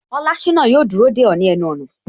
Olashina yo dúró de o ni ẹnu ona